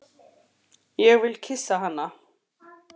Ég vil kyssa hana.